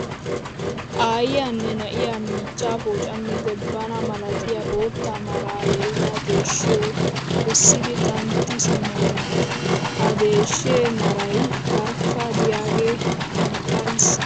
Aayyiya nne na'iya miichchaa poocammiiddi bana malatiya bootta maraa yelida deeshshiyo essidi xantti simmoosona. Ha deeshshee maray barkka diyagee anqqariis.